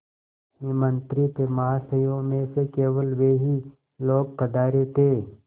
निमंत्रित महाशयों में से केवल वे ही लोग पधारे थे